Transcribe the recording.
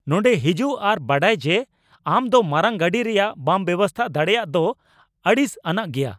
ᱱᱚᱸᱰᱮ ᱦᱤᱡᱩᱜ ᱟᱨ ᱵᱟᱰᱟᱭ ᱡᱮ ᱟᱢ ᱫᱚ ᱢᱟᱨᱟᱝ ᱜᱟᱹᱰᱤ ᱨᱮᱭᱟᱜ ᱵᱟᱢ ᱵᱮᱵᱚᱥᱛᱟ ᱫᱟᱲᱮᱭᱟᱜ ᱫᱚ ᱟᱹᱲᱤᱥ ᱟᱱᱟᱜ ᱜᱮᱭᱟ ᱾